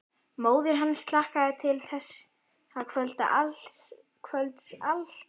Móðir hans hlakkaði til þessa kvölds allt árið.